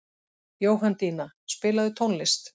Jóhanndína, spilaðu tónlist.